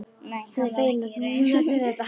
Hann er feginn að hún nefnir þetta.